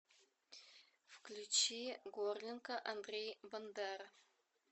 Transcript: включи горлинка андрей бандера